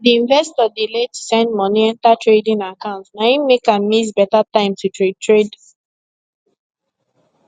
d investor delay to send money enter trading account na him make am miss better time to trade trade